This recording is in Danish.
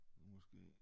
Måske